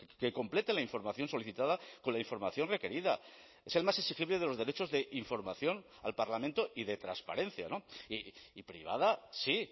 que complete la información solicitada con la información requerida es el más exigible de los derechos de información al parlamento y de transparencia y privada sí